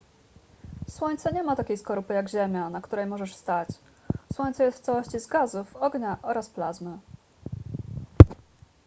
słońce nie ma takiej skorupy jak ziemia na której możesz stać słońce jest w całości z gazów ognia oraz plazmy